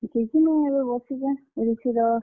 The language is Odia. କିଛି ନେ, ଏବେ ବାସିଛେଁ ।